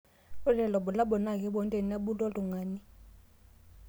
ore lelo bulabol naa kepuonu tenebulu oltungani